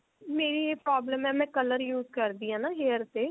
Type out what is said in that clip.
ਮੇਰੀ ਇਹ problem ਹੈ ਮੈਂ color use ਕਰਦੀ ਹਾਂ ਨਾ hairs ਤੇ